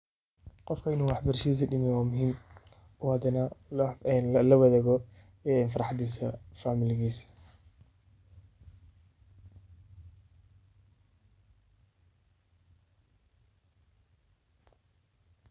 Qofka in uu wax barashadisa dameyo wa muhiim wayo oo hadana lawadago farxadisa familigisa.